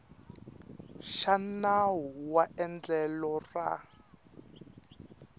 xa nawu wa endlelo ra